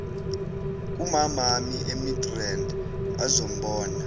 kumamami emidrand azombona